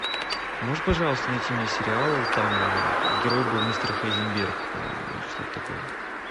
можешь пожалуйста найти мне сериал там герой был мистер хайзенберг по моему или что то такое